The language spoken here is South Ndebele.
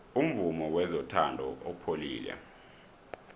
umvumo wezothando upholile